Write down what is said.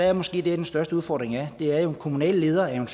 er måske der den største udfordring er er en kommunal leder er jo